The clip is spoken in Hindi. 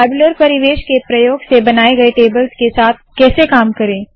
टैब्यूलर परिवेश के प्रयोग से बनाए गए टेबल्स के साथ कैसे काम करे